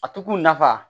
A to kun nafa